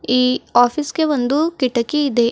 ಈ ಆಫೀಸ್ ಗೆ ಒಂದು ಕಿಟಕಿ ಇದೆ.